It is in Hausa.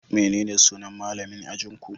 Menene sunan malamin ajinku?